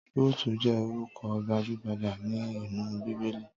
Rúùtù jẹ́ orúkọ gbajúgbajà ní inú Bíbélì.